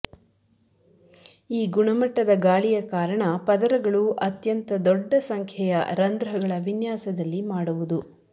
ಈ ಗುಣಮಟ್ಟದ ಗಾಳಿಯ ಕಾರಣ ಪದರಗಳು ಅತ್ಯಂತ ದೊಡ್ಡ ಸಂಖ್ಯೆಯ ರಂಧ್ರಗಳ ವಿನ್ಯಾಸದಲ್ಲಿ ಮಾಡುವುದು